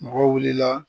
Mɔgɔw wulila